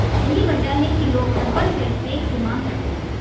यही वजह है कि लोग हर्बल फेसपैक की मांग करते हैं